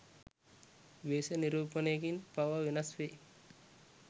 වේශ නිරූපණයකින් පවා වෙනස් වෙයි.